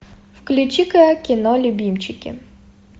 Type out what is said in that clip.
включи ка кино любимчики